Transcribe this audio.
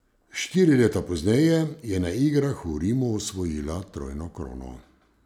Štiri leta pozneje je na igrah v Rimu osvojila trojno krono.